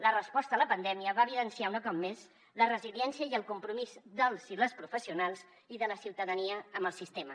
la resposta a la pandèmia va evidenciar un cop més la resiliència i el compromís dels i les professionals i de la ciutadania amb el sistema